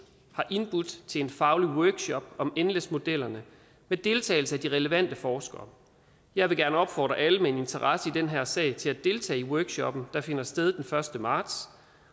har indbudt til en faglig workshop om nles modellerne med deltagelse af de relevante forskere jeg vil gerne opfordre alle med en interesse i den her sag til at deltage i workshoppen der finder sted den første marts